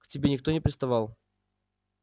к тебе никто не приставал